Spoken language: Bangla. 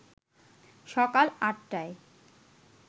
সকাল ৮ টায়